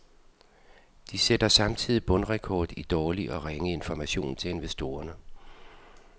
De sætter samtidig bundrekord i dårlig og ringe information til investorerne.